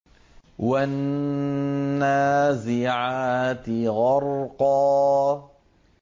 وَالنَّازِعَاتِ غَرْقًا